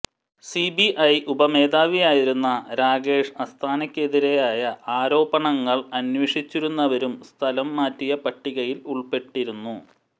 CBI ഉപമേധാവിയായിരുന്ന രാകേഷ് അസ്താനക്കെതിരായ ആരോപണങ്ങൾ അന്വേഷിച്ചിരുന്നവരും സ്ഥലം മാറ്റിയ പട്ടികയിൽ ഉൾപ്പെട്ടിരുന്നു